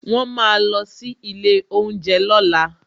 Won máa sí ilé oúnjẹ lọ́la